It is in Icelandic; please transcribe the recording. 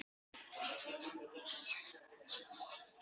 Hann stóð þarna nokkra stund.